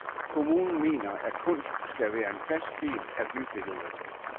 Kommunen mener, at kunst skal være en fast del af bybilledet.